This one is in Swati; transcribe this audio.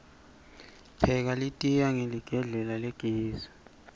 pheka litiya hqeligedlela lagesi